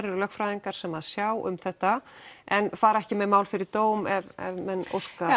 eru lögfræðingar sem sjá um þetta en fara ekki með mál fyrir dóm ef menn óska